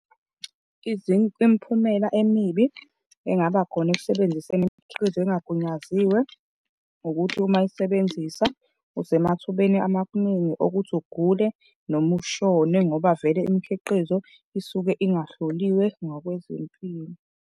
Imiphumela emibi engabakhona ekusebenziseni imikhiqizo engagunyaziwe ukuthi uma isebenzisa usemathubeni amaningi okuthi ugule noma ushone ngoba vele imikhiqizo isuke ingahloliwe ngokwezempilo.